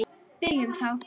Byrjum þá.